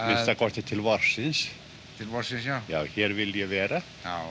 minnsta kosti til vorsins til vorsins hér vil ég vera